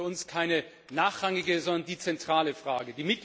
Das ist für uns keine nachrangige, sondern die zentrale Frage.